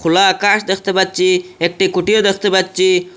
খোলা আকাশ দেখতে পাচ্ছি একটি কুঠিরও দেখতে পাচ্ছি।